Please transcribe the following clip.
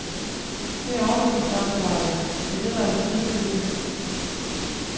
Det er jeg overbevist om, svarede jeg, det er det, der er det triste ved det.